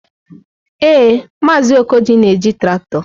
Ee, Maazị Okoji na-eji traktọ.